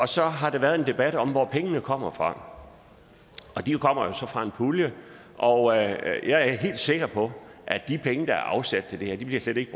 så har der været en debat om hvor pengene kommer fra de kommer fra en pulje og jeg er helt sikker på at de penge der er afsat til det her slet ikke